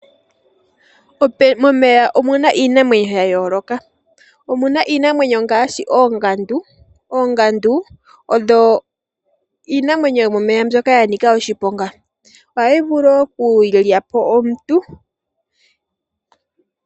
Momeya omuna iinamwenyo ya yooloka omuna iinamwenyo ngaashi oongandu. Oongandu odho iinamwenyo yomomeya mbyoka ya nika oshiponga, ohayi vulu okulya po omuntu.